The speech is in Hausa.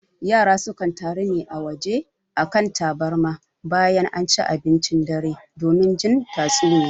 Yara sukan taru a waje a kan tabarma bayan anci abincin dare don jin tatsuniya